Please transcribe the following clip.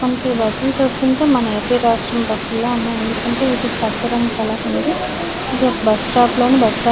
మొత్తానికి ఈ బస్ లు చూస్తుంటే మన ఏపి రాష్ట్ర బస్ లా అనిపిస్తున్నాయి ఎందుకంటే వీటికి పచ్చ రంగు కలర్ ఉంది ఇది ఒక బస్ స్టాప్ లోని బస్--